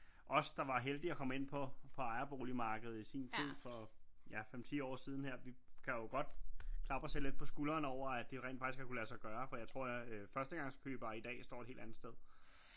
Os der var heldige og komme ind på ejerboligmarkedet i sin tid for ja 5 10 år siden her vi kan jo godt klappe os selv lidt på skulderen over at det rent faktisk har kunne lade sig gøre for jeg tror at øh førstegangskøbere i dag står et helt andet sted